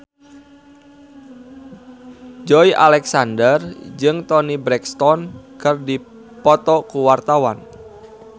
Joey Alexander jeung Toni Brexton keur dipoto ku wartawan